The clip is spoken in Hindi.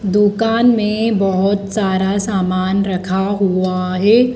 दुकान में बोहोत सारा सामान रखा हुआ है।